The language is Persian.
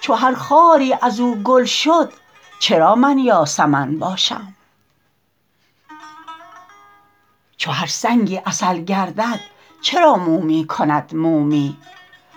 چو هر خاری از او گل شد چرا من یاسمن باشم چو هر سنگی عسل گردد چرا مومی کند مومی